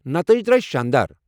نتٲئج درٲے شاندار۔